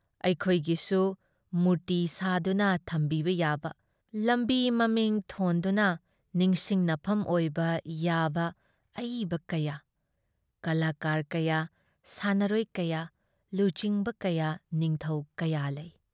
ꯑꯩꯈꯣꯏꯒꯤꯁꯨ ꯃꯨꯔꯇꯤ ꯁꯥꯗꯨꯅ ꯊꯝꯕꯤꯕ ꯌꯥꯕ, ꯂꯝꯕꯤ ꯃꯃꯤꯡ ꯊꯣꯟꯗꯨꯅ ꯅꯤꯡꯁꯤꯡꯅꯐꯝ ꯑꯣꯏꯕ ꯌꯥꯕ ꯑꯏꯕ ꯀꯌꯥ, ꯀꯂꯥꯀꯥꯔ ꯀꯌꯥ, ꯁꯥꯟꯅꯔꯣꯏ ꯀꯌꯥ, ꯂꯨꯆꯤꯡꯕ ꯀꯌꯥ, ꯅꯤꯡꯊꯧ ꯀꯌꯥ ꯂꯩ ꯫